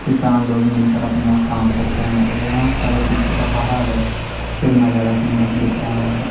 किसान लोग मिलकर अपना काम करते हैं और यहां का जो पीछे का पहाड़ है कितना ज्यादा सुंदर दिख रहा है।